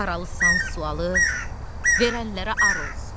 Haralısan sualı verənlərə ar olsun.